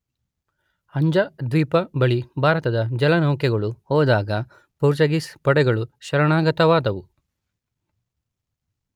ಅಂಜದೀವ್ನ ಬಳಿ ಭಾರತದ ಜಲನೌಕೆಗಳು ಹೋದಾಗ ಪೋರ್ಚುಗೀಸ್ ಪಡೆಗಳು ಶರಣಾಗತವಾದವು.